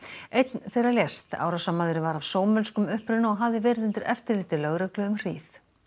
einn þeirra lést árásarmaðurinn var af uppruna og hafði verið undir eftirliti lögreglunnar um hríð